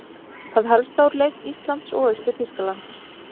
Það helsta úr leik Íslands og Austur-Þýskalands